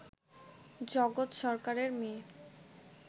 জগৎ সরকারের মেয়ে